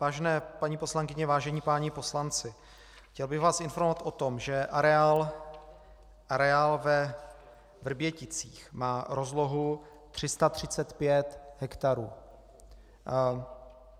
Vážené paní poslankyně, vážení páni poslanci, chtěl bych vás informovat o tom, že areál ve Vrběticích má rozlohu 335 hektarů.